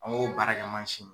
An k'o baarakɛ mansin